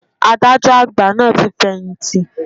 Adájọ́ àgbà náà ti fẹ̀yìntì.